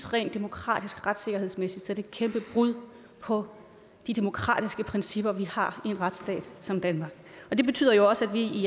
rent demokratisk retssikkerhedsmæssigt er et kæmpe brud på de demokratiske principper vi har i en retsstat som danmark det betyder jo også at vi i